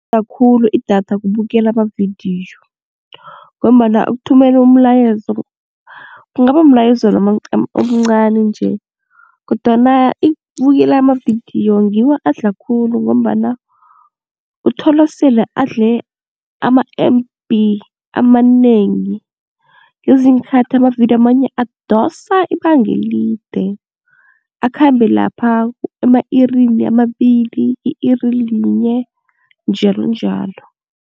khulu idatha kubukela amavidiyo ngombana ukuthumela umlayezo kungaba mlayezo omncani nje kodwana ukubukela amavidiyo ngiwo adla khulu ngombana uthola sele adle ama-M_B amanengi ngezinyiinkhathi amavidiyo amanye adosa ibangelide akhambe lapha ema-irini amabili, i-iri linye njalonjalo.